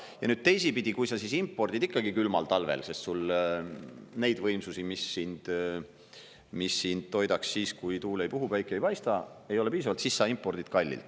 Ja nüüd teisipidi, kui sa siis impordid ikkagi külmal talvel, sest sul neid võimsusi, mis sind toidaks siis, kui tuul ei puhu, päike ei paista, ei ole piisavalt, siis sa impordid kallilt.